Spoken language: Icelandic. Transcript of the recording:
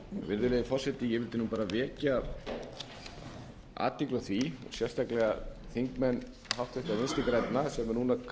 virðulegi forseti ég vildi vekja athygli á því sérstaklega háttvirtir þingmenn vinstri grænna sem